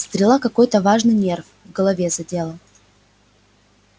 стрела какой-то важный нерв в голове задела